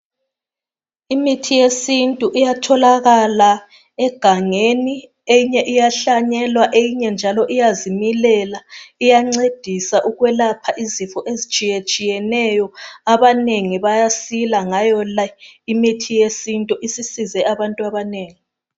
Imithi yesintu iyatholakala egangeni eyinye iyahlanyelwa eyinye njalo iyazimilela iyangcedisa ukwelapha izifo ezitshiyetshiyeneyo abanengi bayasila ngayo imithi yesintu isisize abantu abanengi.